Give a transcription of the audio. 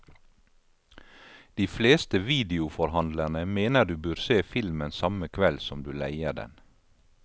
De fleste videoforhandlerne mener du bør se filmen samme kveld som du leier den.